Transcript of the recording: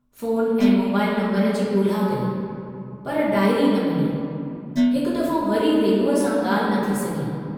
Phone ऐं mobile number जी गोल्हा कई, पर डायरी न मिली, हिकु दफ़ो वरी रेलूअ सां ॻाल्हि न थी सघी।